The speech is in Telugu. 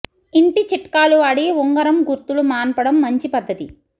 ఇంటి చిట్కాలు వాడి ఉంగరం గుర్తులు మాన్పడం మంచి పద్ధతి